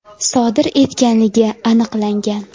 sodir etganligi aniqlangan.